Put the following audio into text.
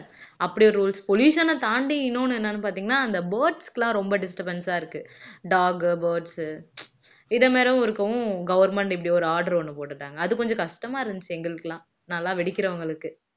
அப்படி ஒரு rules pollution அ தாண்டி இன்னொன்னு என்னன்னு பாத்தீங்கன்னா அந்த birds க்கு எல்லாம் ரொம்ப disturbance ஆ இருக்கு dog birds இதே மாதிரியும் இருக்கும் government இப்படி ஒரு order ஒண்ணு போட்டு இருந்தாங்க அது கொஞ்சம் கஷ்டமா இருந்துச்சு எங்களுக்கெல்லாம் நல்லா வெடிக்கிறவங்களுக்கு